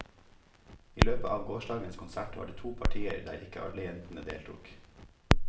I løpet av gårsdagens konsert var det to partier der ikke alle jentene deltok.